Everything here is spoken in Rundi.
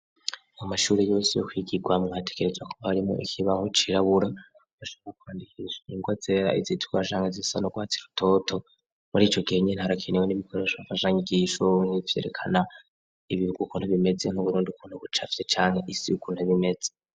Mu mashure yose yo kwigigwamwo hatekerezwa kuba harimwo ikibaho cirabura bashobra kwandikisha ingwa zera izitukura canke izisa n'urwatsi rutoto. Muri ico gihe nyene harakenewe n'ibikoresho mfashanyigisho vyerekana ibihugu ukuntu bimeze nk'Uburundi ukuntu bucafye canke isi ukuntu iba imeze